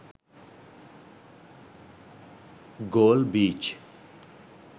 galle beach